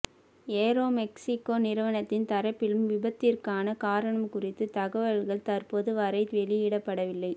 Aeromexico நிறுவனத்தின் தரப்பிலும் விபத்திற்கான காரணம் குறித்த தகவல்கள் தற்போது வரை வெளியிடப்படவில்லை